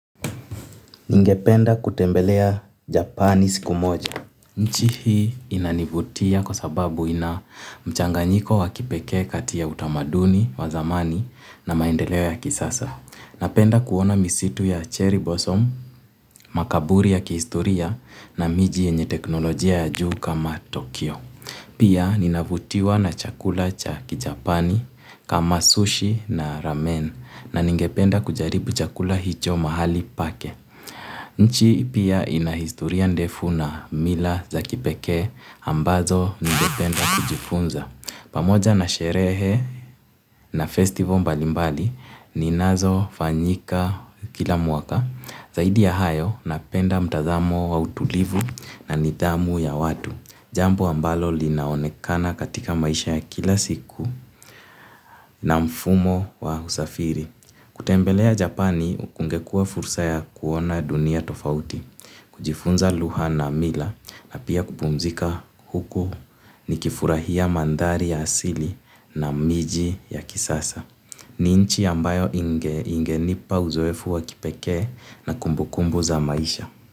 Ningependa kutembelea japani siku moja. Nchi hii ina nivutia kwa sababu ina mchanganyiko wa kipekee kati ya utamaduni wa zamani na maendeleo ya kisasa. Napenda kuona misitu ya cherry blossom, makaburi ya kihistoria na miji yenye teknolojia ya juu kama Tokyo. Pia ninavutiwa na chakula cha kijapani kama sushi na ramen na ningependa kujaribu chakula hicho mahali pake. Nchi pia ina historia ndefu na mila za kipekee ambazo ningependa kujifunza. Pamoja na sherehe na festival mbalimbali ninazo fanyika kila mwaka. Zaidi ya hayo napenda mtazamo wa utulivu na nidhamu ya watu. Jambo ambalo linaonekana katika maisha ya kila siku na mfumo wa usafiri. Kutembelea Japani kungekuwa fursa ya kuona dunia tofauti. Kujifunza lugha na mila na pia kupumzika huko nikifurahia mandhari ya asili na miji ya kisasa. Ni inchi ambayo ingenipa uzoefu wa kipekee na kumbu kumbu za maisha.